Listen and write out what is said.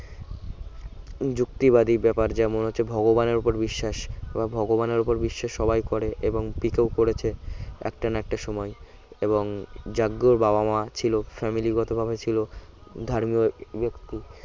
যুক্তিবাদী ব্যাপার যেমন হচ্ছে ভগবানের ওপর বিশ্বাস এবার ভগবানের উপর বিশ্বাস সবাই করে এবং পিকেও করেছে একটা না একটা সময় এবং জাব্বুর বাবা-মা ছিল family গত ভাবে ছিল ধার্মীয় ব্যক্তি